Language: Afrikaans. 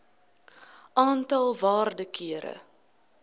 aantal waarde kere